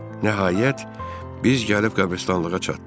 Nəhayət, biz gəlib qəbristanlığa çatdıq.